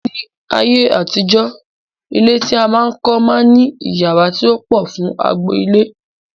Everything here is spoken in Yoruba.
Ní ayé àtijọ́, ilé tí a máa ń kọ́ máa ń ní iyàrá tí ó pọ̀ fún agbo ilé